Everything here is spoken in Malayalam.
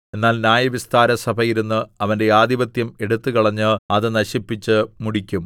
എന്നാൽ ന്യായവിസ്താരസഭ ഇരുന്ന് അവന്റെ ആധിപത്യം എടുത്തുകളഞ്ഞ് അത് നശിപ്പിച്ച് മുടിക്കും